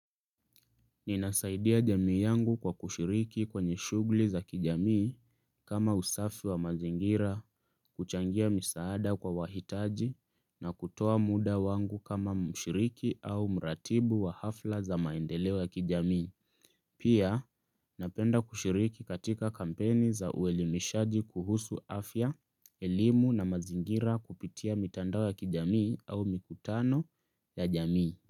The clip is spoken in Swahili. Ninasaidia jamii yangu kwa kushiriki kwenye shuglii za kijamii kama usafi wa mazingira kuchangia misaada kwa wahitaji na kutoa muda wangu kama mshiriki au mratibu wa hafla za maendeleoya kijamii. Pia napenda kushiriki katika kampeni za uelimishaji kuhusu afya, elimu na mazingira kupitia mitandao ya kijamii au mikutano ya jamii.